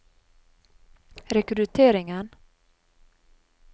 rekrutteringen